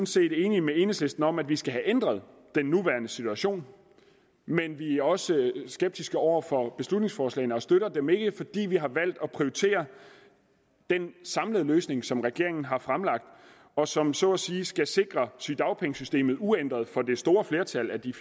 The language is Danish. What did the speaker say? set er enige med enhedslisten om at vi skal have ændret den nuværende situation men vi er også skeptiske over for beslutningsforslagene og støtter dem ikke fordi vi har valgt at prioritere den samlede løsning som regeringen har fremlagt og som så at sige skal sikre sygedagpengesystemet uændret for det store flertal af de